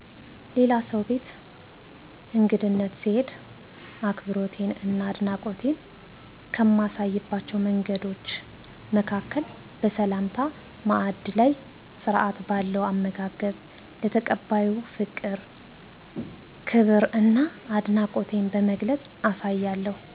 ሌላ ሰው ቤት እንግድነት ስሄድ አክብሮቴን እና አድናቆቴን ከማሳይባቸው መንገዶች መካከል በሰላምታ፣ ማዕድ ላይ ስርዓት ባለው አመጋገብ፣ ለተቀባዩ ፍቅር፣ ክብር እና አድናቆቴን በመግለፅ አሳያለሁ